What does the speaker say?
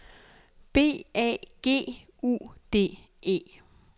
B A G U D E